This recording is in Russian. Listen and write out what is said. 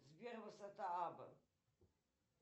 сбер высота абба